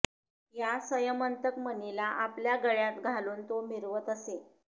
या स्यमंतक मणीला आपल्या गळ्यात घालून तो मिरवत असे